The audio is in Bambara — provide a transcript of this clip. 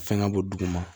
Fɛn ŋa b'o duguma